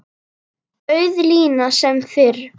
Auð lína sem fyrr.